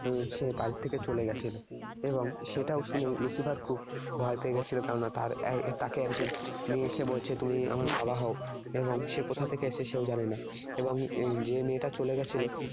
সে বাড়ির থেকে চলে গেছিল এবং সেটা শুনে Lucifer খুব ভয় পেয়ে গেছিল কেননা এর তাকে একজন মেয়ে এসে বলছে তুমি আমার বাবা হও এবং সে কোথা থেকে এসেছে সেও জানে না। এবং যে মেয়েটা চলে গেছিল